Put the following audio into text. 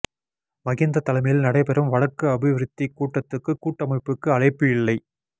மகிந்த தலைமையில் நடைபெறும் வடக்கு அபிவிருத்திக் கூட்டத்துக்கு கூட்டமைப்புக்கு அழைப்பு இல்லை